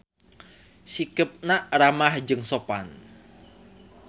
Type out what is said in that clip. Sikepna ramah jeung sopan.